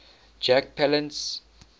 jack palance